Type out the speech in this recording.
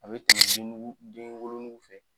A bɛ tɛmɛ dennugu denwolonugu fɛ